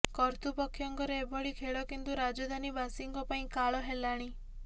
କର୍ତୃପକ୍ଷଙ୍କର ଏଭଳି ଖେଳ କିନ୍ତୁ ରାଜଧାନୀବାସୀଙ୍କ ପାଇଁ କାଳ ହେଲାଣି